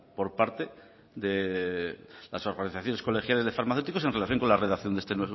por parte de las organizaciones colegiales de farmacéuticos en relación con la redacción de este